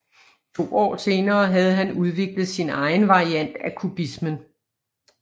To år senere havde han udviklet sin egen variant af kubismen